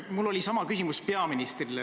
Mul oli sama küsimus peaministrile.